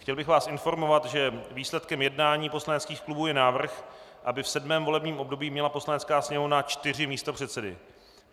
Chtěl bych vás informovat, že výsledkem jednání poslaneckých klubů je návrh, aby v sedmém volebním období měla Poslanecká sněmovna čtyři místopředsedy.